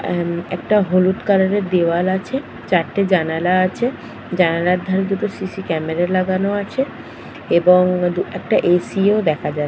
অ্যাম একটা হলুদ কালার -এর দেওয়াল আছে চারটে জানালা আছে জালনার ধারে দুটো সিসি ক্যামেরা লাগানো আছে এবং একটা এ.সি. -ও দেখা যাচ্ছে ।